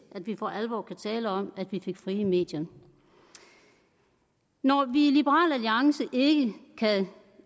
vi for alvor kan tale om at vi fik frie medier når vi i liberal alliance ikke kan